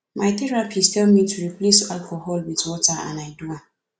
my therapist tell me to replace alcohol with water and i do am